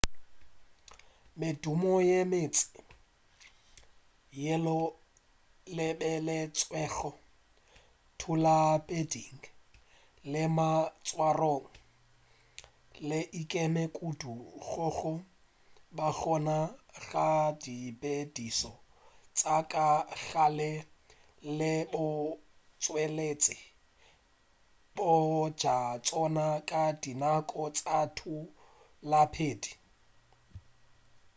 medumo ye mentši yeo e lebeletšwego thutapheding le maitshwarong e ikeme kudu go go ba gona ga ditshepedišo tša ka gare le botšweletši bja tšona ka dinako tša thutaphedi